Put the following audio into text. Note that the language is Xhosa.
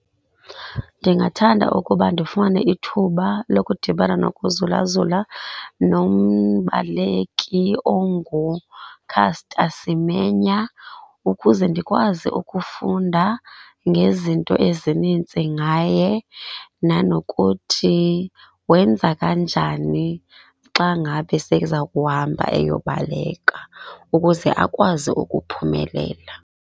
Ndingathanda ukuba ndifumane ithuba lokudibana nokuzulazula nombaleki onguCaster Semenya, ukuze ndikwazi ukufunda ngezinto ezininzi ngaye nanokuthi wenza kanjani xa ngabe seza kuhamba eyobaleka ukuze akwazi ukuphumelela.